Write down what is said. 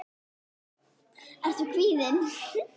Ertu kvíðinn?